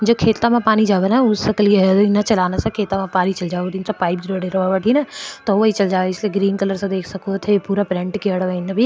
जो खेत माँ पानी जावे उस न --